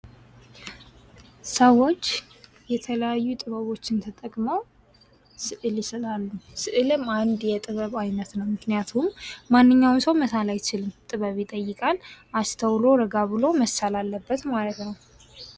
ሰዎች የተለያዩ ጥበቦችን ተጠቅመው ስእል ይስላሉ። ስእልም አንድ የጥበብ ዓይነት ነው። ምክንያቱም ማንኛውም ሰው መሳል አይችልም ጥበብ ይጠይቃል። አስተውሎ ረጋ ብሎ መሳል አለበት ማለት ነው።